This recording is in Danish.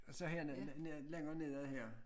Og så her nede længere nede af her